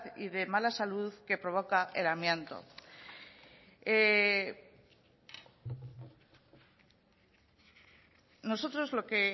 y de mala salud que provoca el amianto nosotros lo que en